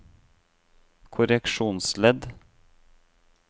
korreksjonsledd